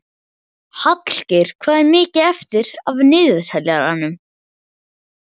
Hallgeir, hvað er mikið eftir af niðurteljaranum?